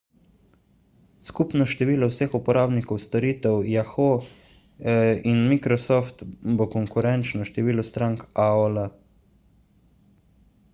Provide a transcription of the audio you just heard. skupno število vseh uporabnikov storitev yahoo in microsoft bo konkurenčno številu strank aol